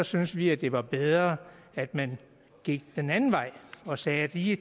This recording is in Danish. synes vi at det var bedre at man gik den anden vej og sagde at de